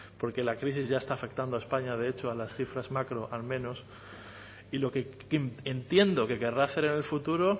porque la crisis ya está afectando a españa de hecho a las cifras macro al menos y lo que entiendo que querrá hacer en el futuro